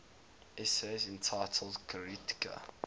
essays entitled kritika